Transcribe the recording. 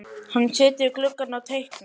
Hann situr við gluggann og teiknar.